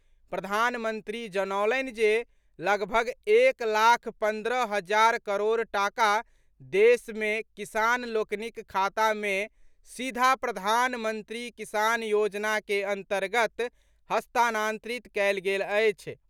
प्रधानमंत्री जनौलनि जे लगभग एक लाख पन्द्रह हजार करोड़ टाका देश मे किसान लोकनिक खाता मे सीधा प्रधानमंत्री किसान योजना के अन्तर्गत हस्तांतरित कयल गेल अछि।